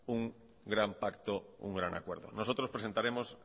un gran pacto un gran acuerdo nosotros presentaremos